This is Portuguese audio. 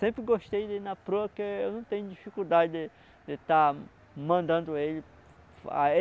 Sempre gostei de ir na proa porque eu não tenho dificuldade de de estar mandando ele